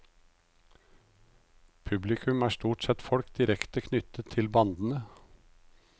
Publikum er stort sett folk direkte knyttet til bandene.